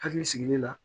Hakili sigilen na